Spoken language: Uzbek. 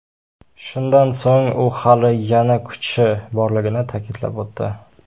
Shundan so‘ng u hali yana kuchi borligini ta’kidlab o‘tdi.